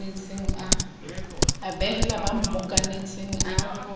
a behela ba mmokanetseng a